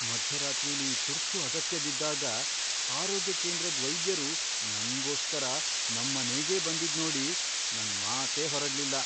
ಮಧ್ಯರಾತ್ರಿಲಿ ತುರ್ತು ಅಗತ್ಯ ಬಿದ್ದಾಗ ಆರೋಗ್ಯ ಕೇಂದ್ರದ್ ವೈದ್ಯರು ನಂಗೋಸ್ಕರ ನಮ್ಮನೆಗೇ ಬಂದಿದ್ನೋಡಿ ನಂಗ್ ಮಾತೇ ಹೊರಡ್ಲಿಲ್ಲ.